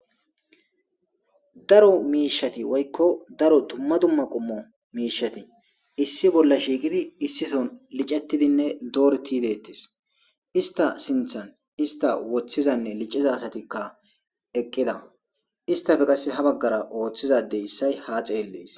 Daro mishati woyko daro duma duma qumo mishati issi bola shiqidi issi so lic'etidine doretidi de'etes ista sinta ista wothizanne lic'iza asatikka eqida istape qase ha bagara othiza adey issay ha xeles.